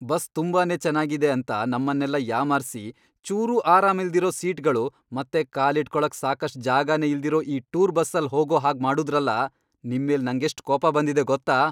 Bus ತುಂಬಾ ಚೆನಾಗಿದೆ ಅಂತ ನಮ್ಮನ್ನೆಲ್ಲ ಯಾಮಾರ್ಸಿ ಚೂರೂ ಆರಾಮಿಲ್ದಿರೋ ಸೀಟ್ಗಳು ಮತ್ತೆ ಕಾಲಿಟ್ಕೊಳಕ್ ಸಾಕಷ್ಟ್ ಜಾಗನೇ ಇಲ್ದಿರೋ ಈ ಟೂರ್ ಬಸ್ಸಲ್ಲ್ ಹೋಗೋ ಹಾಗ್ ಮಾಡುದ್ರಲ, ನಿಮ್ಮೇಲ್ ನಂಗೆಷ್ಟ್ ಕೋಪ ಬಂದಿದೆ ಗೊತ್ತಾ?